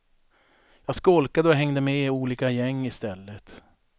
Jag skolkade och hängde med olika gäng i stället.